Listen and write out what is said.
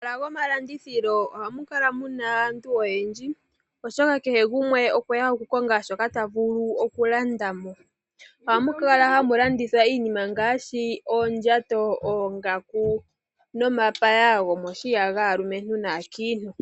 Momahala gomalandithilo ohamu kala muna aantu oyendji oshoka kehe gumwe okweya okukonga shoka ta vulu okulanda mo, ohamu kala hamu landithwa iinima ngaashi oondjato, oongaku nomapaya gomoshiya gaalumentu naankiintu.